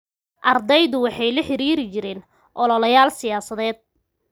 Ardaydu waxa ay la xidhiidhin jireen ololeyaal siyaasadeed.